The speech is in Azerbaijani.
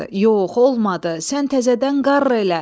"Yox, olmadı, sən təzədən qarr elə!